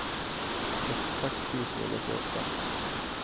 sekstiseks tusen og nittiåtte